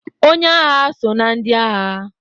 Onye agha so na ndị agha